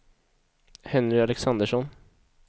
Henry Alexandersson